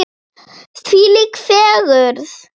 Þvílík fegurð!